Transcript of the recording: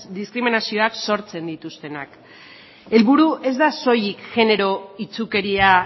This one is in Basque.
diskriminazioak sortzen dituztenak helburua ez da soilik genero itsukeria